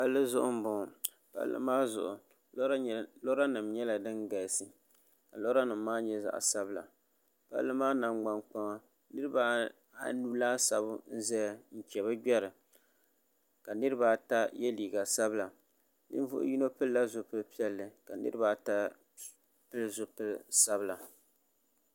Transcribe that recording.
palli zuɣu n boŋo palli maa zuɣu lora nim nyɛla din galisi ka lora nim maa nyɛ zaɣ sabila palli maa nangbani kpaŋa niraba anu laasabu n ʒɛya n chɛ bi gbɛri ka niraba ata yɛ liiga sabila ninvuɣu yino pilila zipili piɛlli ka niraba ata pili zipili sabila